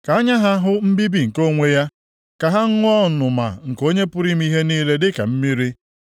Ka anya ha hụ mbibi nke onwe ya, ka ha ṅụọ ọnụma nke Onye pụrụ ime ihe niile dịka mmiri.